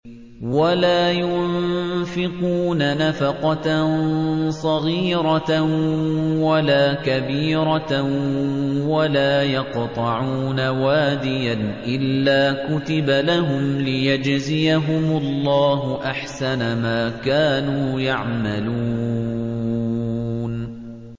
وَلَا يُنفِقُونَ نَفَقَةً صَغِيرَةً وَلَا كَبِيرَةً وَلَا يَقْطَعُونَ وَادِيًا إِلَّا كُتِبَ لَهُمْ لِيَجْزِيَهُمُ اللَّهُ أَحْسَنَ مَا كَانُوا يَعْمَلُونَ